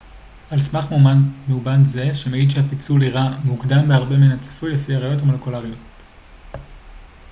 על סמך מאובן זה שמעיד שהפיצול אירע מוקדם בהרבה מן הצפוי לפי הראיות המולקולריות